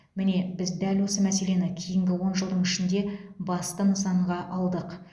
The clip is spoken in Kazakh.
міне біз дәл осы мәселені кейінгі он жылдың ішінде басты нысанаға алдық